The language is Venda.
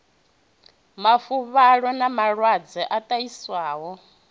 mafuvhalo na malwadze a ṱahiswaho